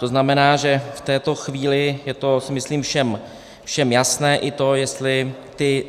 To znamená, že v této chvíli je to, myslím, všem jasné, i to, jestli ty